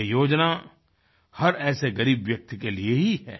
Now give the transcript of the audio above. यह योजना हर ऐसे ग़रीब व्यक्ति के लिए ही है